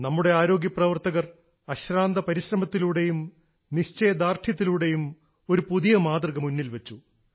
നമ്മുടെ ആരോഗ്യപ്രവർത്തകർ അശ്രാന്ത പരിശ്രമത്തിലൂടെയും നിശ്ചയ ദാർഢ്യത്തിലൂടെയും ഒരു പുതിയ മാതൃക മുന്നിൽ വെച്ചു